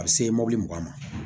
A bɛ se mobili mugan ma